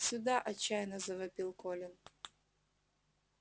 сюда отчаянно завопил колин